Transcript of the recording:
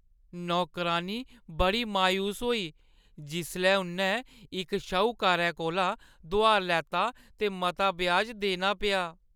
नौकरानी बड़ी मायूस होई जिसलै उʼन्नै इक श्हूकारै कोला दुहार लैता ते मता ब्याज देना पेआ।